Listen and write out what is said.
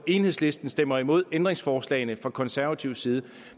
enhedslisten stemmer imod ændringsforslagene fra konservativ side